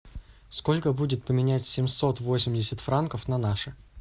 сколько будет поменять семьсот восемьдесят франков на наши